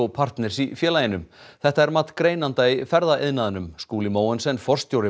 partners í félaginu þetta er mat greinanda í ferðaiðnaðinum Skúli Mogensen forstjóri